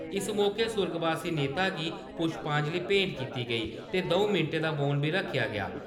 इस मौके सुर्गवासी नेता गी पुश्पांजलि भेंट कीती गेई ते द'ऊं मैंटें दा मौन बी रक्खेआ गेआ ।